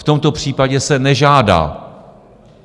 V tomto případě se nežádá.